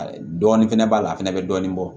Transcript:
Dɔɔnin fɛnɛ b'a la a fɛnɛ bɛ dɔɔnin bɔ